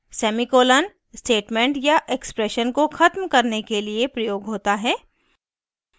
semicolon statement या expression को ख़त्म करने के लिए प्रयोग होता है